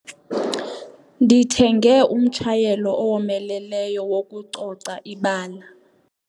Ndithenge umtshayelo owomeleleyo wokucoca ibala.